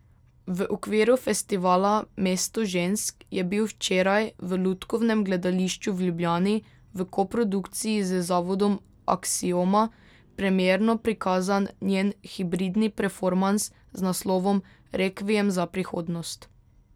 V okviru festivala Mesto žensk je bil včeraj v Lutkovnem gledališču v Ljubljani, v koprodukciji z zavodom Aksioma, premierno prikazan njen hibridni performans z naslovom Rekviem za prihodnost.